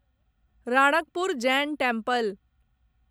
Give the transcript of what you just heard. Ranakpur Jain temple